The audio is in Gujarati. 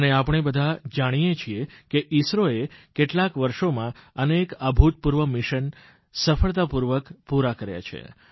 અને આપણે બધા જાણીએ છીએ કે ઇસરોએ કેટલાંક વર્ષોમાં અનેક અભૂતપૂર્વ મિશન સફળતાપૂર્વક પૂરાં કર્યાં છે